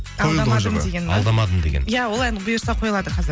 алдамадым деген иә ол ән бұйырса қойылады қазір